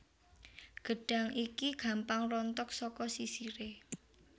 Gedhang iki gampang rontok saka sisire